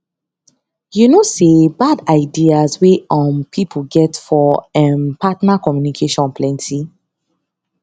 you know say bad ideas wey um people get for um partner communication plenty